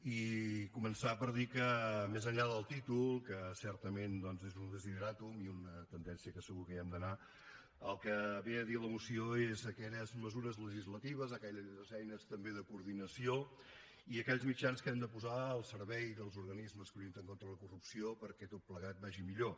i començar per dir que més enllà del títol que certament doncs és un desideràtum i una tendència que segur que hi hem d’anar el que ve a dir la moció és aquelles mesures legislatives aquelles eines també de coordinació i aquells mitjans que hem de posar al servei dels organismes que lluiten contra la corrupció perquè tot plegat vagi millor